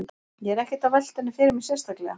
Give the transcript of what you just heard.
Ég er ekkert að velta henni fyrir mér sérstaklega.